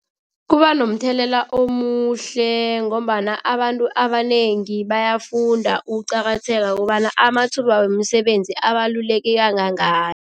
Kuba nomthelela omuhle ngombana abantu abanengi bayafunda ukuqakatheka kobana amathuba wemisebenzi abaluleke kangangani.